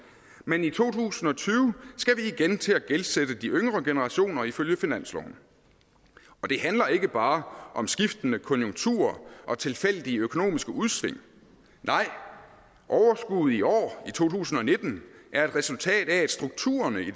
men i to tusind og tyve skal vi igen til at gældsætte de yngre generationer ifølge finansloven det handler ikke bare om skiftende konjunkturer og tilfældige økonomiske udsving nej overskuddet i år i to tusind og nitten er et resultat af at strukturerne af i